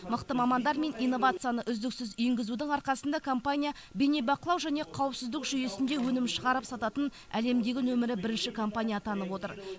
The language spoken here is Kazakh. мықты мамандар мен инновацияны үздіксіз енгізудің арқасында компания бейнебақылау және қауіпсіздік жүйесінде өнім шығарып сататын әлемдегі нөмірі бірінші компания атанып отыр